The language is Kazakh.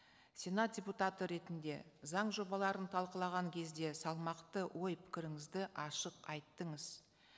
сенат депутаты ретінде заң жобаларын талқылаған кезде салмақты ой пікіріңізді ашық айттыңыз